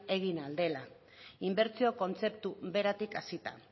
egin ahal dela inbertsio kontzeptu beratik hasita